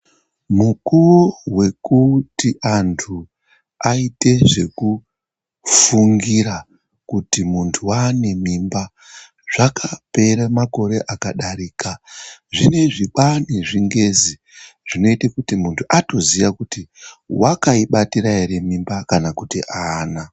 Mukuvo vekuti antu aite zvekufungira kuti muntu vane mimba. Zvakapere makore akadarika zvineizvi kwane zvingezi zvinoite kuti muntu atoziya kuti vakaibatira ere mimba, kana kuti haana.